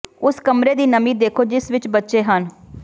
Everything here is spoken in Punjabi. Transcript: ਉਸ ਕਮਰੇ ਦੀ ਨਮੀ ਦੇਖੋ ਜਿਸ ਵਿਚ ਬੱਚੇ ਹਨ